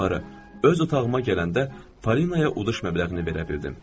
Yuxarı öz otağıma gələndə Parinaya uduş məbləğini verə bildim.